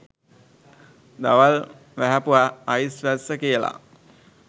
දවල් වැහැපු අයිස් වැස්ස කියලා.